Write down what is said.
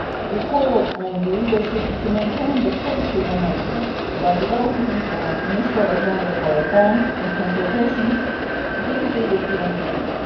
We called on the leadership to maintain the positive momentum by developing an initial agenda for reforms in consultations with the European Union.